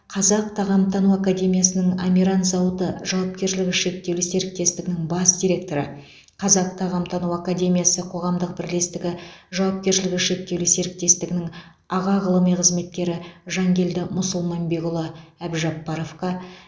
қазақ тағамтану академиясының амиран зауыты жауапкершілігі шектеулі серіктестігінің бас директоры қазақ тағамтану академиясы қоғамдық бірлестігі жауапкершілігі шектеулі серіктестігінің аға ғылыми қызметкері жанкелді мұсылманбекұлы әбжаппаровқа